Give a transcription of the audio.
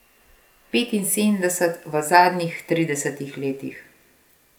Petinsedemdeset v zadnjih tridesetih letih.